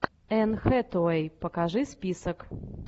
энн хэтэуэи покажи список